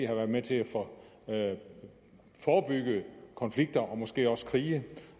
har været med til at forebygge konflikter og måske også krige